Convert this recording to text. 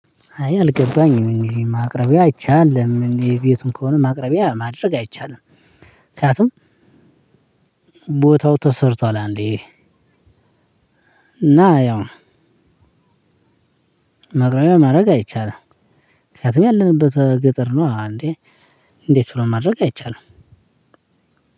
እኔ አልገባኝም እንግዲህ ማቅረቢያ አይቻልም የቤቱም ከሆነ ማቅረቢያ ማድረግ አይቻልም። ምክንያቱም ቦታው ተሰርቷል አንድዬ። እና ያው ማቅረቢያ ማድረግ አይቻልም። ምክንያቱም ያለንበት ገጠር ነው። እንዴት ብሎ ማድረግ አይቻልም